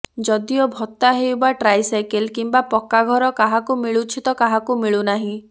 ଯଦିଓ ଭତ୍ତା ହେଉ ବା ଟ୍ରାଇ ସାଇକେଲ୍ କିମ୍ବା ପକ୍କାଘର କାହାକୁ ମିଳୁଛି ତ କାହାକୁ ମିଳୁନାହିଁ